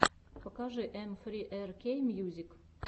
покажи эм фри ар кей мьюзик